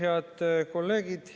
Head kolleegid!